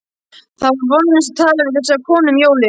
Það var vonlaust að tala við þessa konu um jólin.